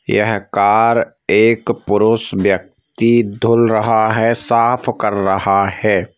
यह कार एक पुरुष व्यक्ति धुल रहा है साफ कर रहा है ।